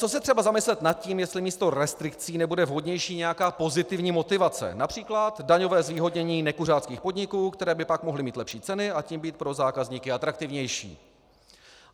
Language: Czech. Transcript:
Co se třeba zamyslet nad tím, jestli místo restrikcí nebude vhodnější nějaká pozitivní motivace, například daňové zvýhodnění nekuřáckých podniků, které by pak mohly mít lepší ceny a tím být pro zákazníky atraktivnější?